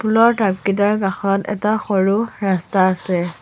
ফুলৰ টাব কিতাৰ কাষত এটা সৰু ৰাস্তা আছে।